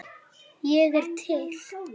Ég er til